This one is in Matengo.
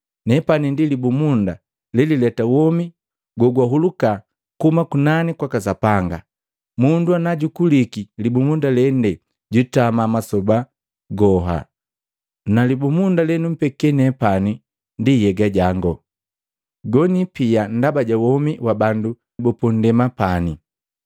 Nepani ndi libumunda lelileta womi gogwahuluka kuhuma kunani kwaka Sapanga. Mundu najukuliki libumunda lende jwitama masoba goha. Na libumunda lenumpeke nepani ndi nhyega jango, gonipia ndaba ja womu wa bandu bapandema pani.”